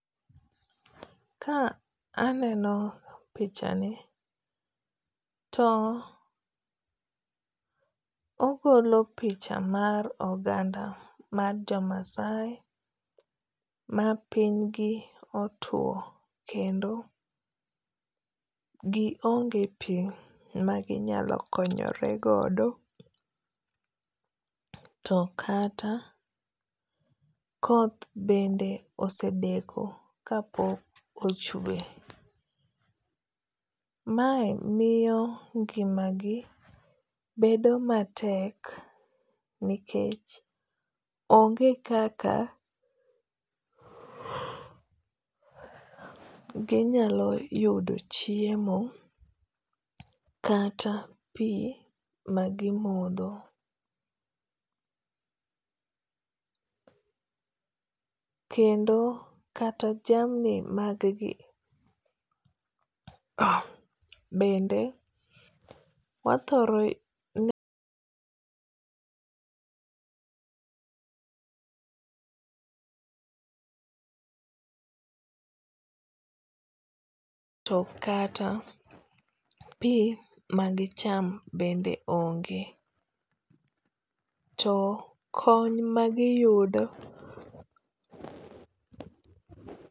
Ka aneno pichani to ogolo picha mar oganda mar jo Maasai ma piny gi otuo kendo gi onge pi ma ginyalo konyore godo. To kata koth bende osedeko ka pok ochwe. Mae miyo ngima gi bedo matek nikech onge kaka ginyalo yudo chiemo kata pi magimodho. Kendo kata jamni mag gi bende wathoro kata pi magicham bende onge. To kony magiyudo